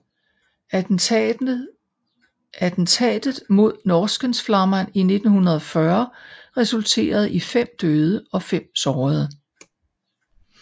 Attentatet mod Norrskensflamman i 1940 resulterede i fem døde og fem sårede